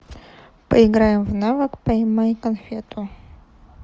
поиграем в навык поймай конфету